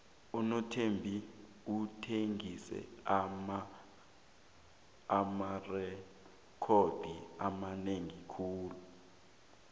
unothembi uthengise amarekhodo amanengi khulu